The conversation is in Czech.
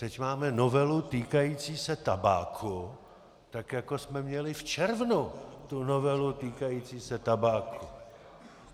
Teď máme novelu týkající se tabáku, tak jako jsme měli v červnu tu novelu týkající se tabáku.